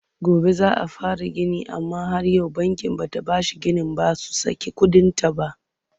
Gobe za a fara gini amma har yau bankin bada bashin ginin ba su saki kuɗinta ba.